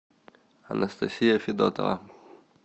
анастасия федотова